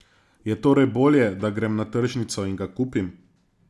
Je torej bolje, da grem na tržnico in ga kupim?